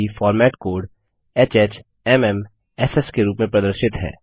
साथ ही format code HHMMSS के रूप में प्रदर्शित है